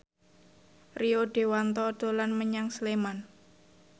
Rio Dewanto dolan menyang Sleman